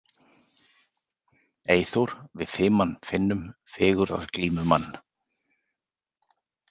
Eyþór við fiman finnum fegurðarglímumann.